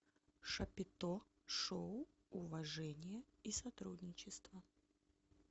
шапито шоу уважение и сотрудничество